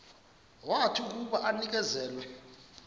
wathi akuba enikezelwe